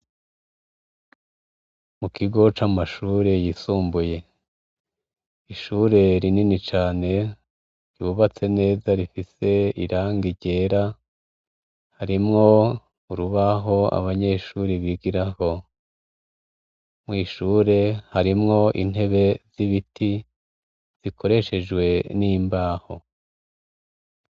mu kigo c'amashure yisumbuye ishure rinini cane rubatse neza rifise iranga ryera harimwo urubaho abanyeshuri bigiraho mw'ishure harimwo intebe z'ibiti zikoreshejwe n'imbaho